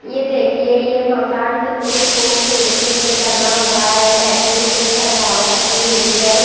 ये देखिए ये मकान कितनी खूबसूरती से बना हुआ है लाइटिंग से सजावट की हुई है।